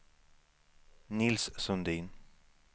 Nils Sundin